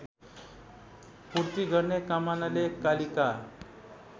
पूर्ति गर्ने कामनाले कालिका